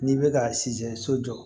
N'i bɛ ka siyɛ so jɔ